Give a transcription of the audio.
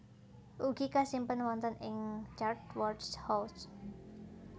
Ugi kasimpen wonten ing Chatsworth House